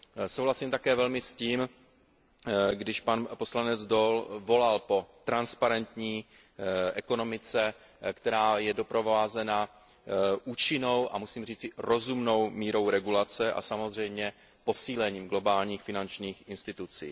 Souhlasím také velmi s tím, když pan poslanec Daul volal po transparentní ekonomice, která je doprovázena účinnou a musím říci rozumnou mírou regulace a samozřejmě posílením globálních finančních institucí.